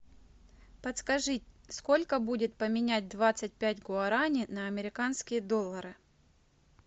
подскажи сколько будет поменять двадцать пять гуарани на американские доллары